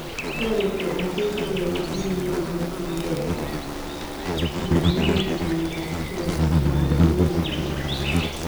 Toretii asista eng chii nekamakyin gei manaam miondoop koristoo nepo UVB